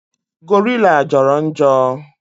Gorilla Joro njo